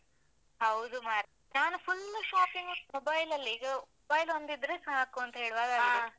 ಹೌದು ಮಾರೆ, ನಾನು full shopping mobile ಲಲ್ಲೆ, ಈಗ mobile ಒಂದು ಇದ್ರೆ ಸಾಕು ಅಂತ ಹೇಳುವಾಗೆ.